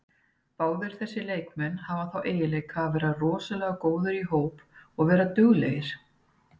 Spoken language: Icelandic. Báðir þessir leikmenn hafa þá eiginleika að vera rosalega góðir í hóp og vera duglegir.